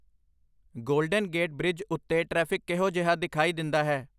golden Gate Bridge ਉੱਤੇ traffic ਕਿਹੋ ਜਿਹਾ ਦਿਖਾਈ ਦਿੰਦਾ ਹੈ